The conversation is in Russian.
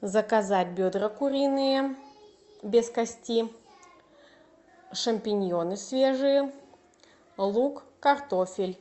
заказать бедра куриные без кости шампиньоны свежие лук картофель